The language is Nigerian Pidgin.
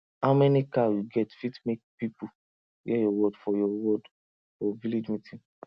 how many cow you get fit make people hear your word for your word for village meeting